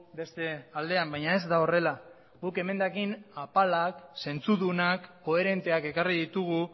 beste aldean baina ez da horrela guk emendakin apalak zentzudunak koherenteak ekarri ditugu